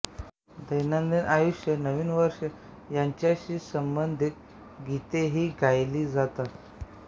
दैनंदिन आयुष्य नवीन वर्ष यांच्याशी संबंधित गीतेही गायली जातात